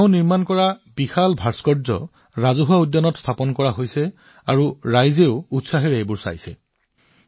তেওঁৰ দ্বাৰা প্ৰস্তুত এই বিশাল ভাস্কৰ্যবোৰ ৰাজহুৱা উদ্যানত স্থাপন কৰা হৈছে আৰু মানুহে অতি উৎসাহেৰে প্ৰত্যক্ষ কৰিছে